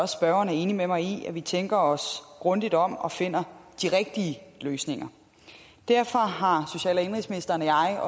spørgeren er enig med mig i vigtigt at vi tænker os grundigt om og finder de rigtige løsninger derfor har social og indenrigsministeren og jeg